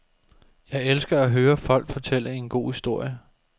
Jeg elsker at høre folk fortælle en god historie.